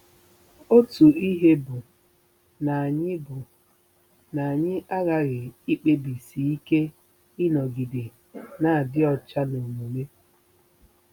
Otu ihe bụ na anyị bụ na anyị aghaghị ikpebisi ike ịnọgide na-adị ọcha n'omume.